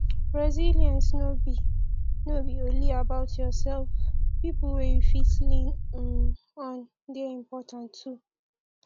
resilence no be no be only about yourself pipo wey you fit lean um on de important too